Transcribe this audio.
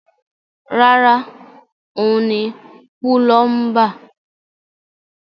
Rárá, òun ni púlọ́ḿbà.